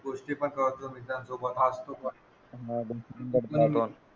गोष्टी पण कळतात मित्रांसोबत क्लासरूममध्ये